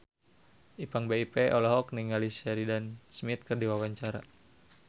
Ipank BIP olohok ningali Sheridan Smith keur diwawancara